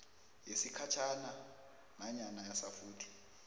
yesikhatjhana nanyana yasafuthi